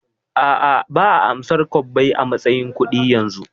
A'a, ba'a amsar kwabbai a matsayin kudi yanzu